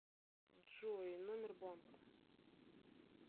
джой номер банка